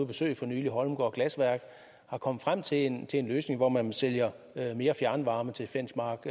besøge for nylig holmegaard glasværk er kommet frem til en til en løsning hvor man sælger mere fjernvarme til fensmark